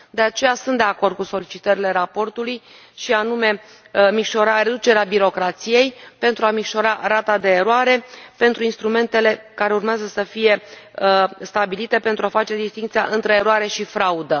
De aceea, sunt de acord cu solicitările raportului, și anume reducerea birocrației pentru a micșora rata de eroare pentru instrumentele care urmează să fie stabilite pentru a face distincția între eroare și fraudă.